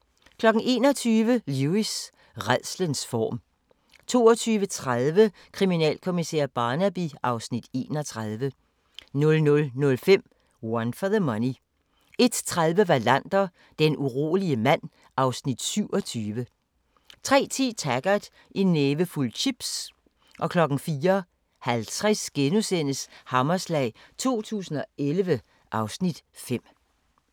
21:00: Lewis: Rædslens form 22:30: Kriminalkommissær Barnaby (Afs. 31) 00:05: One for the Money 01:30: Wallander: Den urolige mand (Afs. 27) 03:10: Taggart: En nævefuld chips 04:50: Hammerslag 2011 (Afs. 5)*